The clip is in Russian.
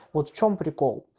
вот в чем прикол